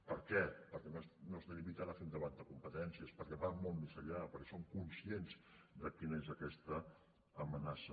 per què perquè no es limiten a fer un debat de competències perquè van molt més enllà perquè són conscients de quina és aquesta amenaça